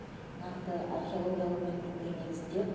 нақты археологиялық мәліметтер негізінде